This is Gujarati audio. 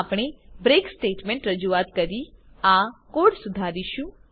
આપણે બ્રેક સ્ટેટમેન્ટ રજૂઆત કરી આ કોડ સુધારીશું